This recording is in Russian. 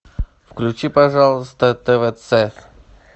включи пожалуйста твц